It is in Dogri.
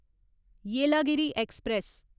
येलागिरी ऐक्सप्रैस